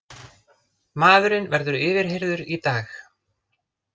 Maðurinn verður yfirheyrður í dag